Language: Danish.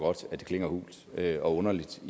at det klinger hult og underligt